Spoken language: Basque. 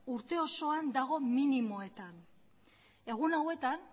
urte osoan dago minimoetan egun hauetan